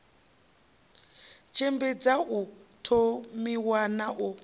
tshimbidza u thomiwa na u